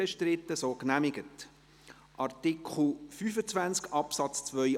müssen also genau dies beachten.